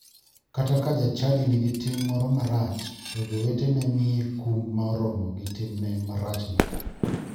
Kata ka jachadi nigi tim moro marach, to jowetene miye kum ma oromo gi timne marachno.